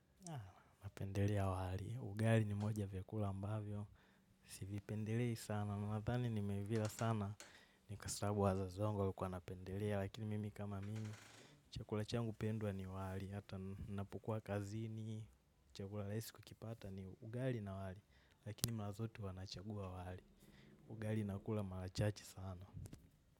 Napendelea wali. Ugali ni moja ya vyakula ambavyo. Sivipendelei sana. Na nadhani nimeivia sana ni kwa sababu wazazi wangu walikuwa wanapendelea. Lakini mimi kama mimi. Chakula changu pendwa ni wali. Hata ninapokua kazini. Chakula rahisi kukipata ni ugali na wali. Lakini mara zote huwa nachagua wali. Ugali nakula mara chache sana.